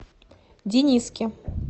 дениске